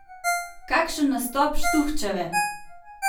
Kakšen nastop Štuhčeve!